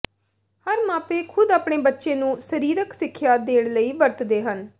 ਹਰ ਮਾਪੇ ਖ਼ੁਦ ਆਪਣੇ ਬੱਚੇ ਨੂੰ ਸਰੀਰਕ ਸਿੱਖਿਆ ਦੇਣ ਲਈ ਵਰਤਦੇ ਹਨ